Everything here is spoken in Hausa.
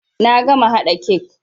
Na gama haɗa kek.